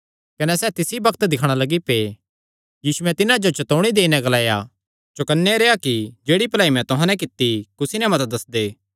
कने सैह़ तिसी बग्त दिक्खणा लग्गी पै यीशुयैं तिन्हां जो चतौणी देई नैं ग्लाया चौकन्ने रेह्आ कि जेह्ड़ी भलाई मैं तुहां नैं कित्ती कुसी नैं मत दस्सदे